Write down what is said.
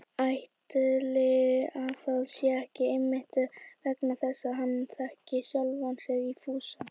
Ætli það sé ekki einmitt vegna þess að hann þekkir sjálfan sig í Fúsa